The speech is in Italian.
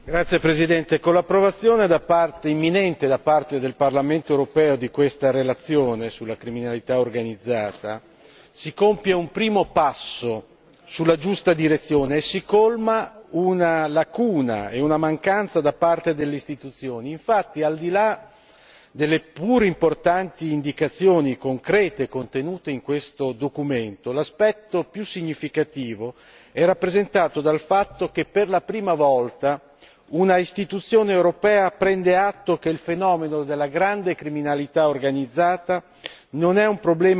Signor Presidente, onorevoli colleghi, con l'imminente approvazione da parte del Parlamento europeo di questa relazione sulla criminalità organizzata si compie un primo passo nella giusta direzione e si colma una lacuna e una mancanza da parte delle istituzioni. Infatti, al di là delle seppur importanti indicazioni concrete contenute in questo documento, l'aspetto più significativo è rappresentato dal fatto che per la prima volta un'istituzione europea prende atto che il fenomeno della grande criminalità organizzata